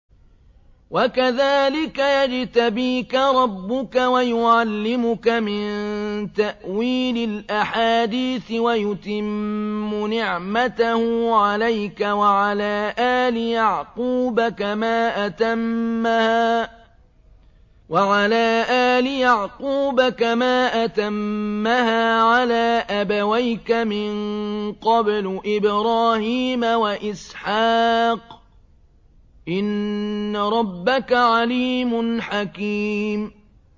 وَكَذَٰلِكَ يَجْتَبِيكَ رَبُّكَ وَيُعَلِّمُكَ مِن تَأْوِيلِ الْأَحَادِيثِ وَيُتِمُّ نِعْمَتَهُ عَلَيْكَ وَعَلَىٰ آلِ يَعْقُوبَ كَمَا أَتَمَّهَا عَلَىٰ أَبَوَيْكَ مِن قَبْلُ إِبْرَاهِيمَ وَإِسْحَاقَ ۚ إِنَّ رَبَّكَ عَلِيمٌ حَكِيمٌ